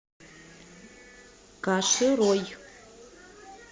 каширой